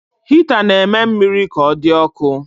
Hita na-eme mmiri ka ọ dị ọkụ